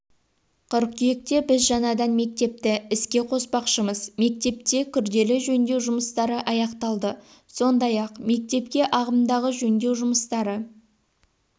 қыркүйекке біз жаңадан мектепті іске қоспақшымыз мектепте күрделі жөндеу жұмыстары аяқталды сондай-ақ мектепте ағымдағы жөндеу жұмыстары